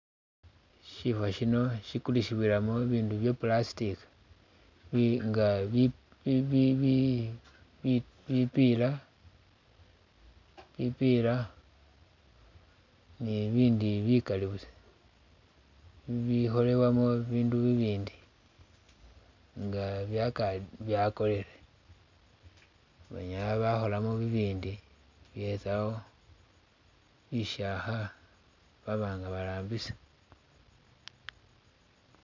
Shifa shino shikulisibwilamo bibindu bya plastic, bi nga bi bi bi bi bi bipiila, bipiila ni ibindi bikali busa bibi kholebwamu bibindu bibindi nga byaka byakorere banyaala bakholamo bibindi besawo bishakha baba nga barambisa.